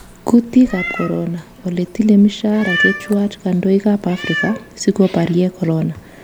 Kutiik ab corona: Ole tile mshahara chechwak kandoik ab Afrika siko baryee Corona